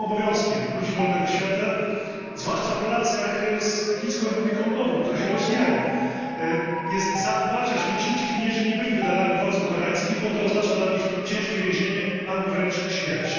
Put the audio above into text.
I naszym obowiązkiem ludzi wolnego świata zwłaszcza w relacjach z Chińską Republiką Ludową, które się rozwijają jest zadbać, ażeby ci uciekinierzy nie byli wydalani władzom koreańskim, bo to oznacza dla nich ciężkie więzienie albo wręcz śmierć.